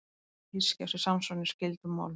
Orðið hyski á sér samsvaranir í skyldum málum.